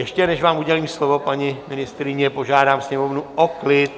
Ještě než vám udělím slovo, paní ministryně, požádám Sněmovnu o klid!